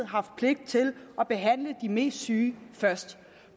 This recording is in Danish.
haft pligt til at behandle de mest syge først